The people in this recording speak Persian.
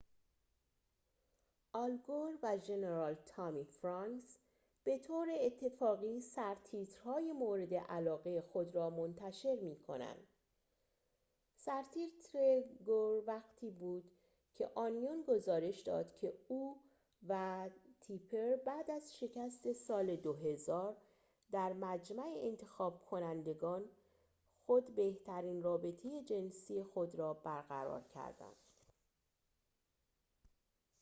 آل گور و ژنرال تامی فرانکس به طور اتفاقی سرتیتر‌های مورد علاقه خود را منتشر می کنند سرتیتر گور وقتی بود که اونیون گزارش داد که او و تیپر بعد از شکست سال 2000 در مجمع انتخاب کنندگان خود بهترین رابطه جنسی خود را برقرار کردند